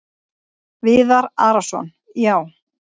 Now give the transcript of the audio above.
Viðar Arason: Já.